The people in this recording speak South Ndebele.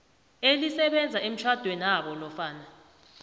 elisebenza emtjhadwenabo nofana